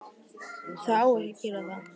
Það á ekki að gera það.